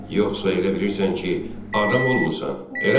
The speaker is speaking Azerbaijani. yoxsa elə bilirsən ki, adam olmusan, eləmi?